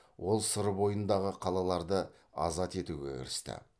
ол сыр бойындағы қалаларды азат етуге кірісті